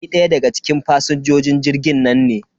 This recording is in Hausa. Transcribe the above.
Ni ɗaya daga cikin fasinjojin jirgin nan ne.